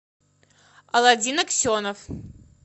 аладдин аксенов